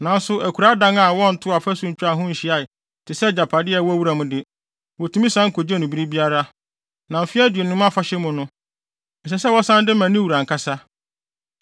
Nanso akuraa dan a wɔntoo ɔfasu ntwaa ho nhyiae te sɛ agyapade a ɛwɔ wuram de, wotumi san kogye no bere biara, na Mfe Aduonum Afahyɛ mu no, ɛsɛ sɛ wɔsan de ma ne wura ankasa.